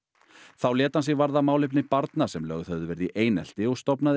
þá lét hann sig varða málefni barna sem lögð höfðu verið í einelti og stofnaði